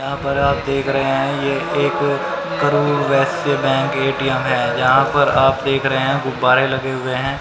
जहां पर आप देख रहे हैं बैंक ए_टी_एम है। जहां पर आप देख रहे हैं गुब्बारे लगे हुए हैं।